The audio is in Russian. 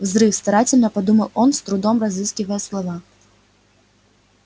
взрыв старательно подумал он с трудом разыскивая слова